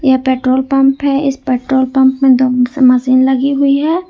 यह petrol pump है इस पेट्रोल पंप मे दो मशीन लगी हुई है।